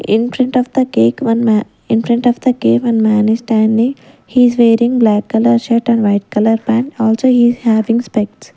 in front of the cake one ma in front of the ca one man is standing he is wearing black colour shirt and white colour pant also he is having spects.